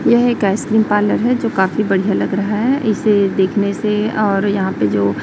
यह एक ice cream parlour है जो काफी बढ़िया लग रहा है इसे देखने से और यहां पे जो--